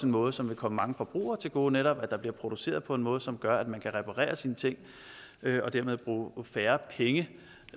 måde som vil komme mange forbrugere til gode netop at der bliver produceret på en måde som gør at man kan reparere sine ting og dermed bruge færre penge